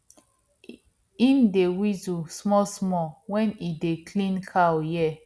him dey whistle smallsmall wen e dey clean cow ear